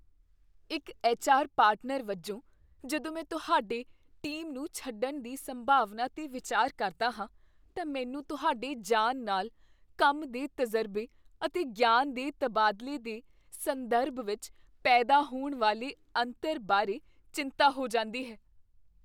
ਇੱਕ HR. Partner ਵਜੋਂ, ਜਦੋਂ ਮੈਂ ਤੁਹਾਡੇ ਟੀਮ ਨੂੰ ਛੱਡਣ ਦੀ ਸੰਭਾਵਨਾ 'ਤੇ ਵਿਚਾਰ ਕਰਦਾ ਹਾਂ, ਤਾਂ ਮੈਨੂੰ ਤੁਹਾਡੇ ਜਾਣ ਨਾਲ ਕੰਮ ਦੇ ਤਜ਼ਰਬੇ ਅਤੇ ਗਿਆਨ ਦੇ ਤਬਾਦਲੇ ਦੇ ਸੰਦਰਭ ਵਿੱਚ ਪੈਦਾ ਹੋਣ ਵਾਲੇ ਅੰਤਰ ਬਾਰੇ ਚਿੰਤਾ ਹੋ ਜਾਂਦੀ ਹੈ।